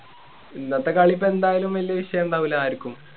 ഇന്നത്തെ കളി ഇപ്പൊ എന്തായാലും വലിയ വിഷയം ഇണ്ടാവില്ല ആര്ക്കും